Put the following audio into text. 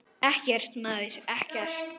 Ekkert, maður, ekkert.